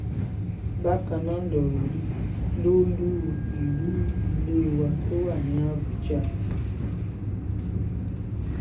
bákan náà lọ̀rọ̀ rí lólu ìlú ilé wa tó wà ní àbújá